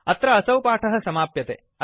अत्र असौ पाठ समाप्यते